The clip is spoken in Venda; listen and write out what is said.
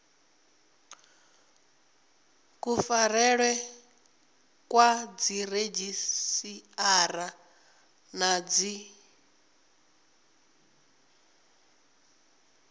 kufarelwe kwa dziredzhisiṱara na dzi